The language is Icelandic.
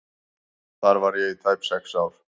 Þar var ég í tæp sex ár.